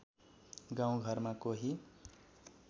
गाउँ घरमा कोही